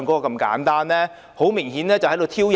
他們很明顯是在挑釁。